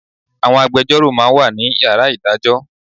Àwọn agbejọ́rò ma ń wà ní Yàrá ìdájọ́